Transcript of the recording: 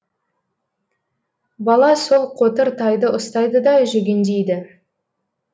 бала сол қотыр тайды ұстайды да жүгендейді